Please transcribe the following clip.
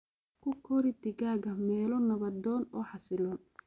Ku kori digaaga meelo nabdoon oo xasilloon.